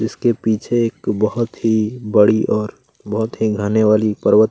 इसके पीछे एक बहुत ही बड़ी और बहुत ही घने वाली पर्वत--